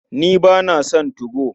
Ni ba na son 2go.